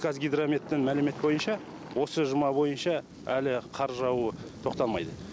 қазгидрометтің мәліметі бойынша осы жұма бойынша әлі қар жаууы тоқтамайды